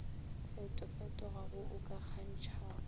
fetofetogago wo o ka gakantšhago